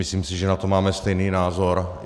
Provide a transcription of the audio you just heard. Myslím si, že na to máme stejný názor.